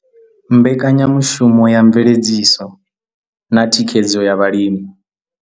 Mbekanyamushumo ya mveledziso na thikhedzo ya vhalimi.